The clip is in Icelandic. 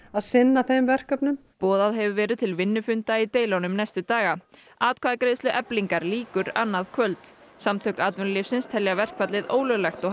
að sinna þeim verkefnum boðað hefur verið til vinnufunda í deilunum næstu daga atkvæðagreiðslu Eflingar lýkur annað kvöld samtök atvinnulífsins telja verkfallið ólöglegt og